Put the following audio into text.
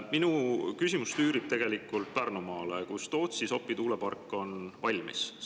Minu küsimus tüürib Pärnumaale, kus Tootsi-Sopi tuulepark on valmis.